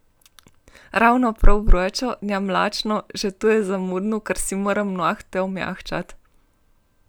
Ravno prav vročo, ne mlačno, že to je zamudno, ker si moram nohte omehčati.